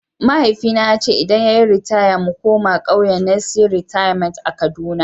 Mahaifina ya ce idan ya yi ritaya mu koma kauyen Nissi Rerement a kaduna.